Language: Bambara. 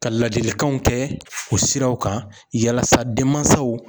Ka ladilikanw kɛ o siraw kan yalasa denmansaw.